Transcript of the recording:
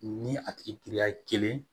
Ni a tigi giriya ye kelen